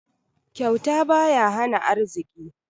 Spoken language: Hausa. Kyauta baya hana arziki.